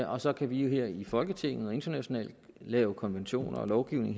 og så kan vi her i folketinget og internationalt lave konventioner og lovgivning